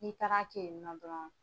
N'i taara ke yen nɔ dɔrɔn